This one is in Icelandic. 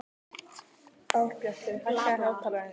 Árbjartur, hækkaðu í hátalaranum.